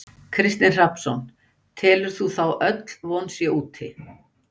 Kristinn Hrafnsson: Telur þú þá öll von sé úti?